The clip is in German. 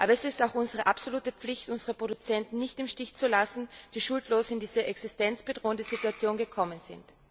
viel. Aber es ist auch unsere absolute Pflicht, unsere Produzenten nicht im Stich zu lassen, die schuldlos in diese existenzbedrohende Situation geraten sind.